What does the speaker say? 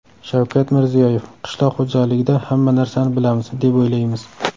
Shavkat Mirziyoyev: Qishloq xo‘jaligida hamma narsani bilamiz, deb o‘ylaymiz.